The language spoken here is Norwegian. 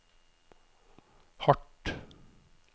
hardt